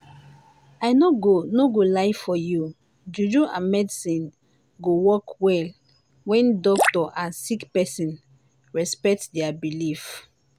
i no go no go lie for you juju and medicine go work well wen doctor and sick pesin respect dia believe.